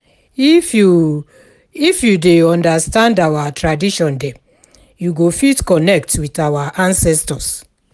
If you If you dey understand our tradition dem, you go fit connect with our ancestors.